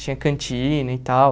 Tinha cantina e tal.